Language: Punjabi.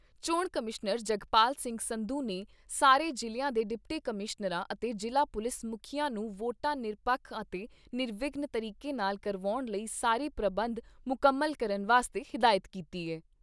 ਚੋਣ ਕਮਿਸ਼ਨਰ ਜਗਪਾਲ ਸਿੰਘ ਸੰਧੂ ਨੇ ਸਾਰੇ ਜ਼ਿਲ੍ਹਿਆਂ ਦੇ ਡਿਪਟੀ ਕਮਿਸ਼ਨਰਾਂ ਅਤੇ ਜ਼ਿਲ੍ਹਾ ਪੁਲਿਸ ਮੁਖੀਆਂ ਨੂੰ ਵੋਟਾਂ ਨਿਰਪੱਖ ਅਤੇ ਨਿਰਵਿਘਨ ਤਰੀਕੇ ਨਾਲ ਕਰਾਉਣ ਲਈ ਸਾਰੇ ਪ੍ਰਬੰਧ ਮੁਕੰਮਲ ਕਰਨ ਵਾਸਤੇ ਹਦਾਇਤ ਕੀਤੀ ਏ।